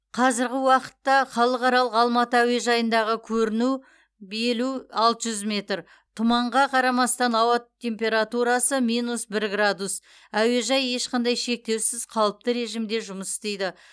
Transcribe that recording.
қазіргі уақытта халықаралық алматы әуежайындағы көріну белу алты жүз метр тұманға қарамастан ауа температурасы минус бір градус әуежай ешқандай шектеусіз қалыпты режимде жұмыс істейді